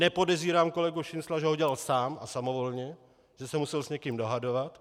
Nepodezírám kolegu Šincla, že ho dělal sám a samovolně, že se musel s někým dohadovat.